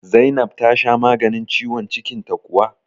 Zainab tasha maganin ciwon cikin ta kuwa?